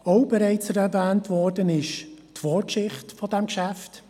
Auch bereits erwähnt wurde die Vorgeschichte dieses Geschäfts.